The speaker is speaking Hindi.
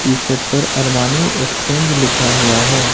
टी शर्ट पर अरमानी एक्सचेंज लिखा हुआ है।